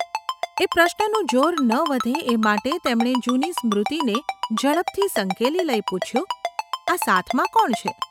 એ પ્રશ્નનું જોર ન વધે એ માટે તેમણે જૂની સ્મૃતિને ઝડપથી સંકેલી લઈ પૂછ્યું : ‘આ સાથમાં કોણ છે?